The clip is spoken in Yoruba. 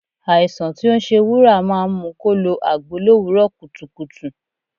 Àìsàn tí ó ń ṣe Wúrà máa ń mu kó lo agbo l'òwúrò kùtùkùtù.